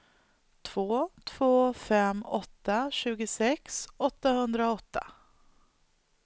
två två fem åtta tjugosex åttahundraåtta